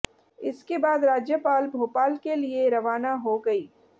इसके बाद राज्यपाल भोलाप के लिए रवाना हो गई